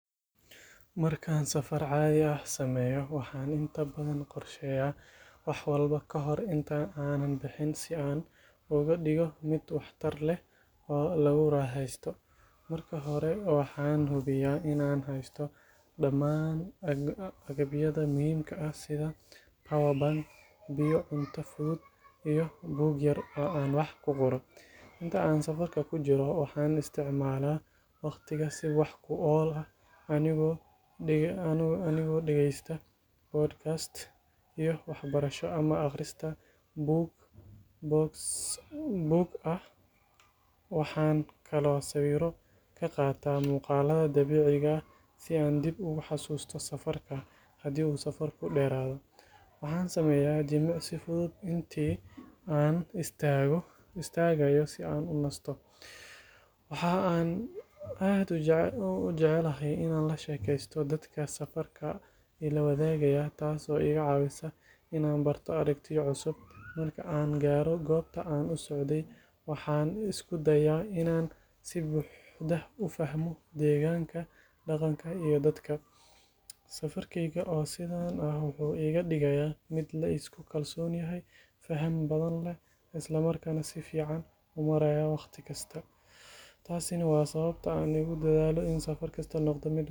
Markaan safar caadi ah sameeyo, waxaan inta badan qorsheeyaa wax walba ka hor inta aanan bixin si aan uga dhigo mid waxtar leh oo lagu raaxaysto. Marka hore, waxaan hubiyaa in aan haysto dhammaan agabyada muhiimka ah sida power bank, biyo, cunto fudud iyo buug yar oo aan wax ku qoro. Inta aan safarka ku jiro, waxaan isticmaalaa wakhtiga si wax ku ool ah anigoo dhegeysta podcast-yo waxbarasho ama akhrista buug e-book ah. Waxaan kaloo sawiro ka qaataa muuqaalada dabiiciga ah si aan dib ugu xasuusto safarka. Haddii uu safarku dheeraado, waxaan sameeyaa jimicsi fudud intii aan istaagayo si aan u nasto. Waxa aan aad u jecelahay inaan la sheekaysto dadka safarka ila wadaagaya, taas oo iga caawisa inaan barto aragtiyo cusub. Marka aan gaaro goobta aan u socday, waxaan isku dayaa in aan si buuxda u fahmo deegaanka, dhaqanka iyo dadka. Safarkeyga oo sidan ah wuxuu iga dhigayaa mid la isku kalsoon yahay, faham badan leh, isla markaana si fiican u maareeya waqti kasta. Taasina waa sababta aan ugu dadaalo in safar kasta noqdo.